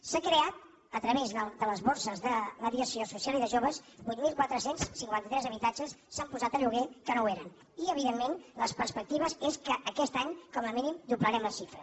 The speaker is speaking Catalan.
s’han creat a través de les borses de mediació social i de joves vuit mil quatre cents i cinquanta tres habitatges s’han posat a lloguer que no ho eren i evidentment les perspectives són que aquest any com a mínim doblarem la xifra